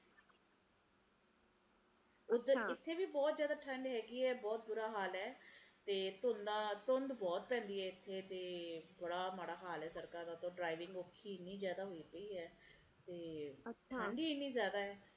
ਇਥੇ ਵੀ ਬਹੁਤ ਜ਼ਿਆਦਾ ਠੰਡ ਹੇਗੀ ਐ ਬਹੁਤ ਬੁਰਾ ਹਾਲ ਐ ਤੇ ਧੂੰਦਾ ਧੁੰਦ ਬਹੁਤ ਪੈਂਦੀ ਐ ਇਥੇ ਤੇ ਬੜਾ ਮਾੜਾ ਹਾਲ ਐ ਸੜਕਾਂ ਦਾ driving ਬੜੀ ਔਖੀ ਇੰਨੇ ਜ਼ਿਆਦਾ ਹੋਇ ਪਈ ਐ ਤੇ ਠੰਡ ਹੀ ਇੰਨੇ ਜ਼ਿਆਦਾ ਐ